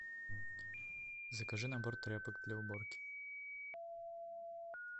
закажи набор тряпок для уборки